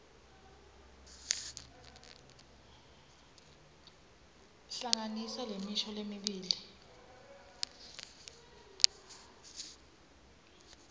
hlanganisa lemisho lemibili